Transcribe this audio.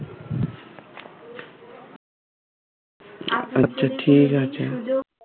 আচ্ছা ঠিক আছে